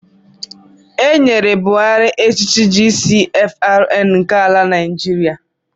E nyere Buhari echichi GCFRN nke ala Naịjiria